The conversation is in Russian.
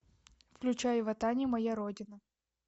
включай ватани моя родина